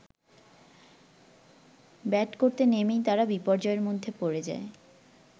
Bat করতে নেমেই তারা বিপর্যয়ের মধ্যে পড়ে যায়।